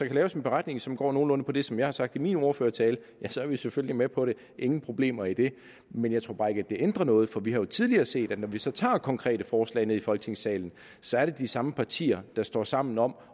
laves en beretning som går nogenlunde på det som jeg har sagt i min ordførertale så er vi selvfølgelig med på det ingen problemer i det men jeg tror bare ikke at det ændrer noget for vi har jo tidligere set at når vi så tager konkrete forslag ned i folketingssalen så er det de samme partier der står sammen om